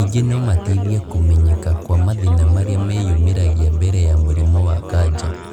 Ningĩ nomateithie kũmenyeka kwa mathĩna marĩa meyumĩragia mbere ya mũrimũ wa kanja